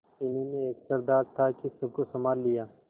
इन्हीं में एक सरदार था कि सबको सँभाल लिया